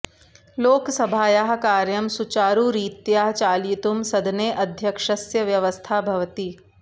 लोकसभायाः कार्यं सुचारुरीत्या चालयितुं सदने अध्यक्षस्य व्यवस्था भवति